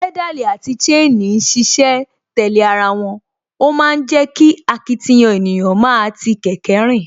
Pedal àti chain ń ṣiṣẹ́ tẹ̀lé ara wọn, ó ma ń jẹ́ kí akitiyan ènìyàn máa ti kẹ̀kẹ́ rìn